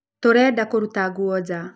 Tũrenda kũruta nguo nja